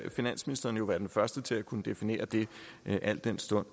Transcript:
finansministeren jo være den første til at kunne definere det al den stund